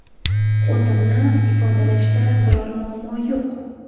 O‘zimni ifodalashda biror muammo yo‘q.